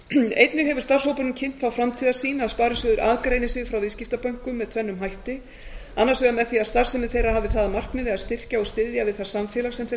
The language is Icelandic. einnig hefur starfshópurinn kynnt þá framtíðarsýn að sparisjóðir aðgreini sig frá viðskiptabönkum með tvennum hætti annars vegar með því að starfsemi þeirra hafi það að markmiði að styrkja og styðja við það samfélag sem þeir